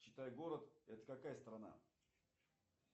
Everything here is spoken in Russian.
читай город это какая страна